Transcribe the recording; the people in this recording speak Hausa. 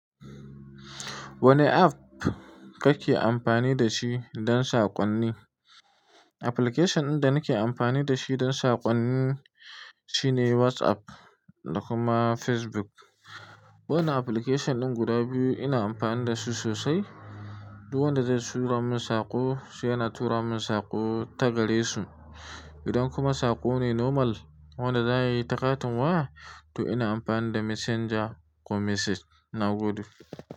Wane app kake amfani da shi don saƙonni? Application ɗin da nake amfani da shi don saƙonni shine WhatsApp da kuma Facebook. Wannan application ɗin guda biyu ina amfani da su sosai. Du wanda zai tura min saƙo, sai yana tura min saƙo ta gare su. Idan kuma saƙo ne normal, wanda za a yi ta katin waya, to ina amfani da Messenger ko Message nagode.